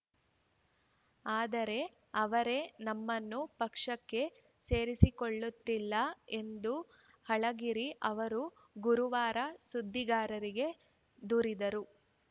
ಆದರೆ ಅವರೇ ನಮ್ಮನ್ನು ಪಕ್ಷಕ್ಕೆ ಸೇರಿಸಿಕೊಳ್ಳುತ್ತಿಲ್ಲ ಎಂದು ಅಳಗಿರಿ ಅವರು ಗುರುವಾರ ಸುದ್ದಿಗಾರರಿಗೆ ದೂರಿದರು